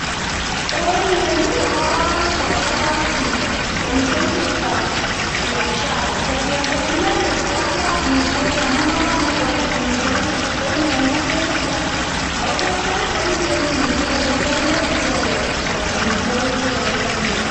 En ireyu ko koibor kogatobot biik, komiten chito biashara chepyoset. Inendet koalda amitwogik amun koibor inendet kogaker amitwogik. En yon ogere chapati ago batai komiten biik che kanyo koalen icheget amitwogik che koaldo inendet.